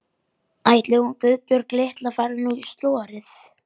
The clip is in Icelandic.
Ætli hún Guðbjörg litla fari nú í slorið.